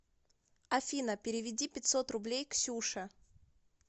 афина переведи пятьсот рублей ксюше